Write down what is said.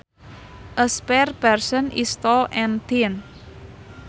A spare person is tall and thin